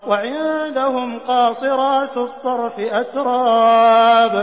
۞ وَعِندَهُمْ قَاصِرَاتُ الطَّرْفِ أَتْرَابٌ